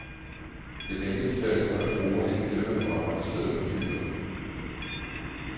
Det kan ikke betale sig at bruge en elvandvarmer i stedet for fyret.